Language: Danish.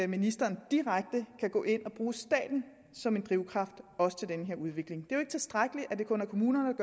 ministeren direkte kan gå ind og bruge staten som en drivkraft også til den her udvikling det er jo ikke tilstrækkeligt at det kun er kommunerne